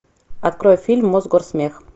открой фильм мосгорсмех